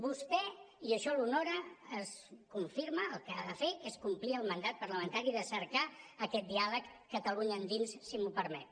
vostè i això l’honora confirma el que ha de fer que és complir el mandat parlamentari de cercar aquest diàleg catalunya endins si m’ho permet